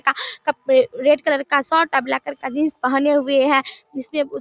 का कप आ red colour का शर्ट और ब्लैक कलर का जीन्स पहने हुए है जिसमे उस--